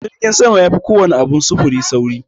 Jirgin sama yafi kowana abin sufuri saurin.